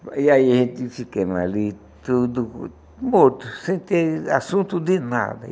E aí a gente ficando ali, tudo morto, sem ter assunto de nada.